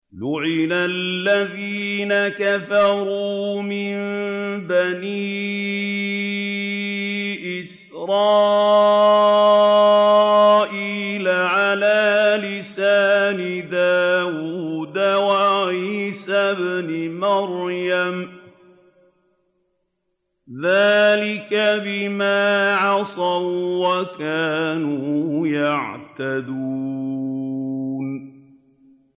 لُعِنَ الَّذِينَ كَفَرُوا مِن بَنِي إِسْرَائِيلَ عَلَىٰ لِسَانِ دَاوُودَ وَعِيسَى ابْنِ مَرْيَمَ ۚ ذَٰلِكَ بِمَا عَصَوا وَّكَانُوا يَعْتَدُونَ